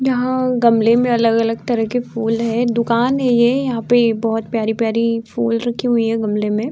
यहाँ गमले में अलग-अलग तरह के फूल है। दूकान है ये यहाँ पे बोहत प्यारी-प्यारी फूल रखी हुई है गमले में।